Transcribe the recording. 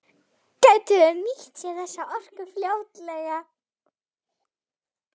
Gætu þeir nýtt sér þessa orku fljótlega?